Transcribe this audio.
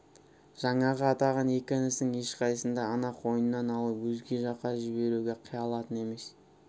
жаңағы атаған екі інісінің ешқайсысын да ана қойнынан алып өзге жаққа жіберуге қия алатын емес